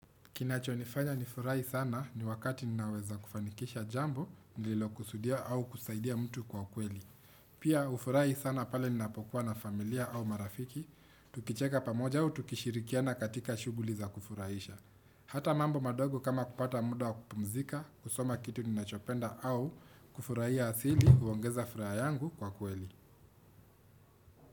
Kinachonifanya nifurahi sana ni wakati ninaweza kufanikisha jambo, nililokusudia au kusaidia mtu kwa kweli. Pia hufurahi sana pale ninapokuwa na familia au marafiki, tukicheka pamoja au tukishirikiana katika shuguli za kufurahisha. Hata mambo madogo kama kupata muda wa kupumzika, kusoma kitu ninachopenda au kufurahia asili huongeza furaha yangu kwa kweli.